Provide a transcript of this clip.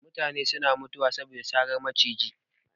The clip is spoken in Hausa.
Mutane suna mutuwa saboda saran maciji